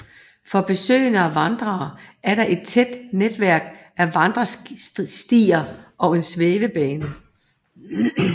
For besøgende og vandrere er der et tæt netværk af vandrestier og en svævebane